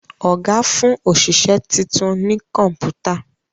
Oga fún oṣiṣẹ títún ní Kọ̀ǹpútà